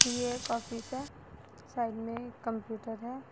ये एक ऑफिस है साइड में एक कंप्यूटर है।